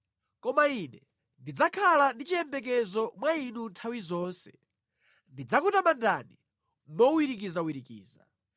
Koma ine ndidzakhala ndi chiyembekezo mwa Inu nthawi zonse, ndidzakutamandani mowirikizawirikiza.